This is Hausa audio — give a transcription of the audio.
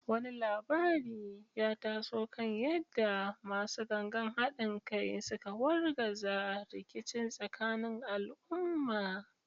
Wani labari ya taso kan yadda “Masu Gangan Hadin Kai” suka wargaza rikici tsakanin al’umma.